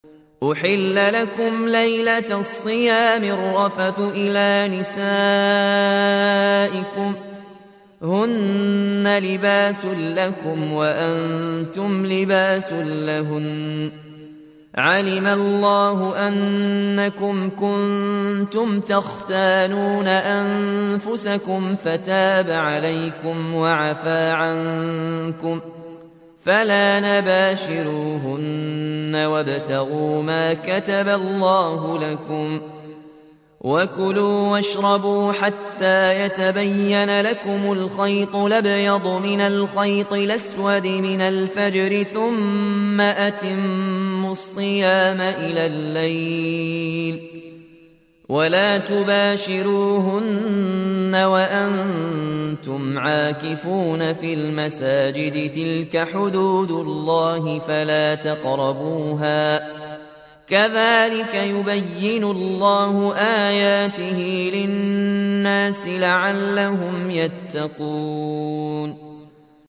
أُحِلَّ لَكُمْ لَيْلَةَ الصِّيَامِ الرَّفَثُ إِلَىٰ نِسَائِكُمْ ۚ هُنَّ لِبَاسٌ لَّكُمْ وَأَنتُمْ لِبَاسٌ لَّهُنَّ ۗ عَلِمَ اللَّهُ أَنَّكُمْ كُنتُمْ تَخْتَانُونَ أَنفُسَكُمْ فَتَابَ عَلَيْكُمْ وَعَفَا عَنكُمْ ۖ فَالْآنَ بَاشِرُوهُنَّ وَابْتَغُوا مَا كَتَبَ اللَّهُ لَكُمْ ۚ وَكُلُوا وَاشْرَبُوا حَتَّىٰ يَتَبَيَّنَ لَكُمُ الْخَيْطُ الْأَبْيَضُ مِنَ الْخَيْطِ الْأَسْوَدِ مِنَ الْفَجْرِ ۖ ثُمَّ أَتِمُّوا الصِّيَامَ إِلَى اللَّيْلِ ۚ وَلَا تُبَاشِرُوهُنَّ وَأَنتُمْ عَاكِفُونَ فِي الْمَسَاجِدِ ۗ تِلْكَ حُدُودُ اللَّهِ فَلَا تَقْرَبُوهَا ۗ كَذَٰلِكَ يُبَيِّنُ اللَّهُ آيَاتِهِ لِلنَّاسِ لَعَلَّهُمْ يَتَّقُونَ